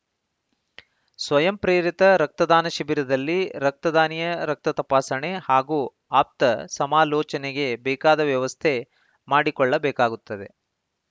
ಸ್ವಯಂ ಪ್ರೇರಿತ ರಕ್ತದಾನ ಶಿಬಿರದಲ್ಲಿ ರಕ್ತದಾನಿಯ ರಕ್ತ ತಪಾಸಣೆ ಹಾಗೂ ಆಪ್ತ ಸಮಾಲೋಚನೆಗೆ ಬೇಕಾದ ವ್ಯವಸ್ಥೆ ಮಾಡಿಕೊಳ್ಳಬೇಕಾಗುತ್ತದೆ